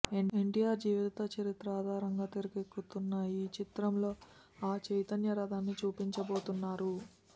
ఎన్టీఆర్ జీవిత చరిత్ర ఆధారంగా తెరకెక్కుతున్న ఈ చిత్రంలో ఆ చైతన్య రథాన్ని చూపించబోతున్నారు